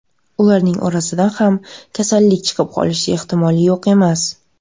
Ularning orasidan ham kasallik chiqib qolishi ehtimoli yo‘q emas.